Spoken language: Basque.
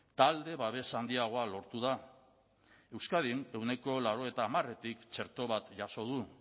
talde babes handiagoa lortu da euskadin ehuneko laurogeita hamaretik txerto bat jaso du